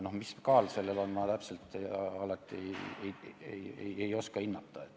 Aga mis kaal sellel on, seda ma alati täpselt ei oska hinnata.